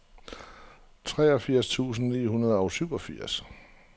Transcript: treogfirs tusind ni hundrede og syvogfirs